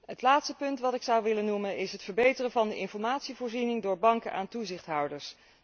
Het laatste punt dat ik zou willen noemen is het verbeteren van de informatievoorziening door banken aan toezichthouders.